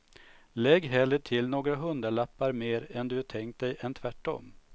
Lägg hellre till några hundralappar mer än du tänkt dig än tvärtom.